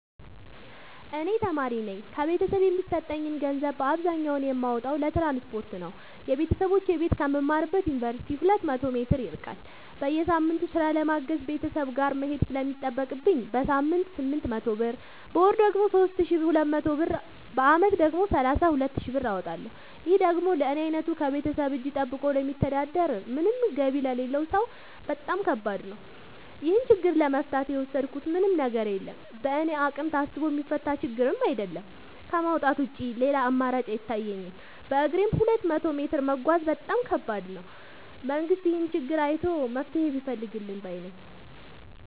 እኔ ተማሪነኝ ከቤተሰብ የሚሰጠኝን ገንዘብ አብዛኛውን የማወጣው ለትራንስፖርት ነው የበተሰቦቼ ቤት ከምማርበት ዮንቨርሲቲ ሁለት መቶ ሜትር ይርቃል። በየሳምቱ ስራ ለማገዝ ቤተሰብ ጋር መሄድ ስለሚጠቅብኝ በሳምንት ስምንት መቶ ብር በወር ደግሞ ሶስት ሺ ሁለት መቶ ብር በአመት ደግሞ ሰላሳ ሁለት ሺ ብር አወጣለሁ ይህ ደግሞ ለኔ አይነቱ ከቤተሰብ እጂ ጠብቆ ለሚተዳደር ምንም ገቢ ለሌለው ሰው በጣም ከባድ ነው። ይህን ችግር ለመፍታት የወሰድኩት ምንም ነገር የለም በእኔ አቅም ታስቦ የሚፈታ ችግርም አይደለም ከማውጣት ውጪ ሌላ አማራጭ አይታየኝም በግሬም ሁለት መቶ ሜትር መጓዝ በጣም ከባድ ነው። መንግስት ይህንን ችግር አይቶ መፍትሔ ቢፈልግልን ባይነኝ።